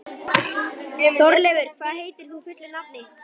Þórleifur, hvað heitir þú fullu nafni?